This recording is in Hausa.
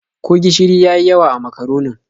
Ko gishiri ya yi yawa a makaronin?